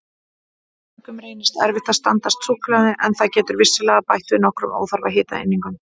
Mörgum reynist erfitt að standast súkkulaði en það getur vissulega bætt við nokkrum óþarfa hitaeiningum.